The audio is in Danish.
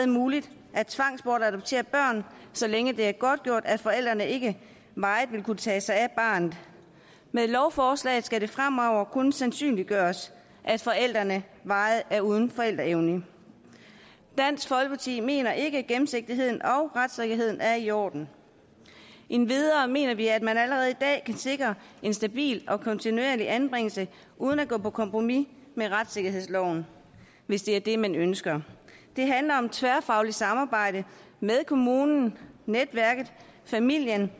muligt at tvangbortadoptere børn så længe det er godtgjort at forældrene ikke varigt vil kunne tage sig af barnet med lovforslaget skal det fremover kun sandsynliggøres at forældrene varigt er uden forældreevne dansk folkeparti mener ikke at gennemsigtigheden og retssikkerheden er i orden endvidere mener vi at man allerede i dag kan sikre en stabil og kontinuerlig anbringelse uden at gå på kompromis med retssikkerhedsloven hvis det er det man ønsker det handler om tværfagligt samarbejde med kommunen netværket familien